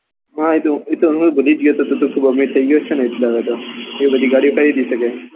હા એ તો હું ભૂલી જ ગયો હતો કે તું તો ખુબ અમીર થઇ ગયો છે ને એટલે હવે તો એ બધી ગાડીઓ ખરીદી સકે છે